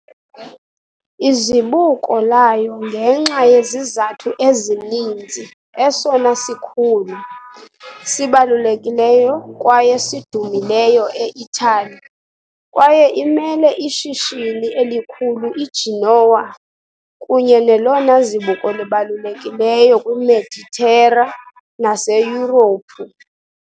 Izibuko layo ngenxa yezizathu ezininzi esona sikhulu, sibalulekileyo kwaye sidumileyo e-Itali kwaye imele ishishini elikhulu iGenoa kunye nelona zibuko libalulekileyo kwiMeditera naseYurophu.